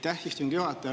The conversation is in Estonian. Aitäh, istungi juhataja!